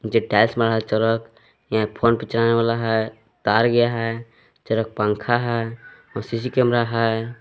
जे tiles बनल है चरक यहां फोन पे चलने वाला है तार गया है चरक पंखा है औ सी सी कैमरा है।